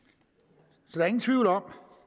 så der er ingen tvivl om